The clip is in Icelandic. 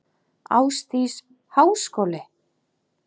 Ásdís: Háskóli?